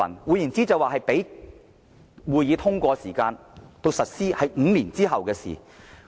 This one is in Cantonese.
換言之，由這個項目通過至實施有5年時間。